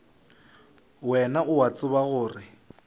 wena o a tseba gore